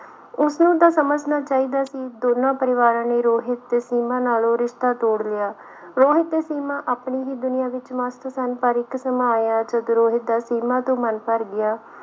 ਉਸਨੂੰ ਤਾਂ ਸਮਝਣਾ ਚਾਹੀਦਾ ਸੀ, ਦੋਨਾਂ ਪਰਿਵਾਰਾਂ ਨੇ ਰੋਹਿਤ ਤੇ ਸੀਮਾ ਨਾਲੋਂ ਰਿਸ਼ਤਾ ਤੋੜ ਲਿਆ, ਰੋਹਿਤ ਤੇ ਸੀਮਾ ਆਪਣੀ ਹੀ ਦੁਨੀਆਂ ਵਿੱਚ ਮਸਤ ਸਨ ਪਰ ਇੱਕ ਸਮਾਂ ਆਇਆ ਜਦ ਰੋਹਿਤ ਦਾ ਸੀਮਾ ਤੋਂ ਮਨ ਭਰ ਗਿਆ।